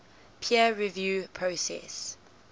peer review process